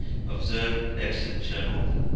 observed exit channel